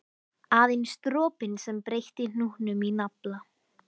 Aðeins dropinn sem breytti hnútnum í nafla.